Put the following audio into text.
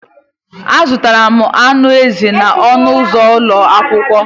Azụtara m anụ ezi n'ọnụ ụzọ ụlọ akwụkwọ.